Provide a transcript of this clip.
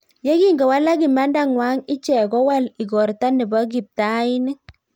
Yekingowalak imanda ngwang icheek kowal igortaa nepo kiptainik